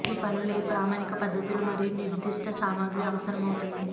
ఈ పనులు ఏ ప్రామాణిక పద్ధతులు మరియు నిర్దిష్ట సామగ్రి అవసరమవుతుంది